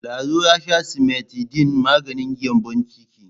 Lado ya sha simetidin maganin gyambon ciki.